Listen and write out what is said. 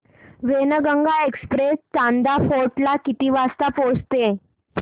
Wainganga express Chanda fort ला किती वाजता पोहचते